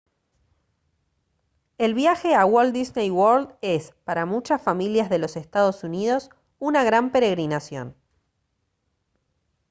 el viaje a walt disney world es para muchas familias de los estados unidos una gran peregrinación